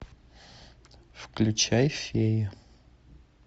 включай фея